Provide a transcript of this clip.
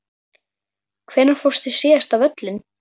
Hvenær fórstu síðast á völlinn?